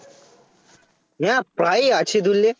না প্রায়ই আছে বুঝলে